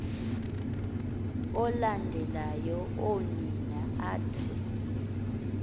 alandela oonina athi